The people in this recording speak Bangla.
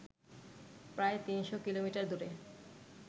প্রায় ৩০০ কিলোমিটার দূরে